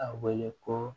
A wele ko